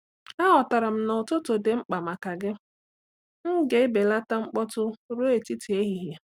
Aghọtara m na ụtụtụ dị mkpa maka gị; m ga-ebelata mkpọtụ ruo etiti ehihie.